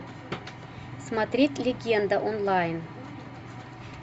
смотреть легенда онлайн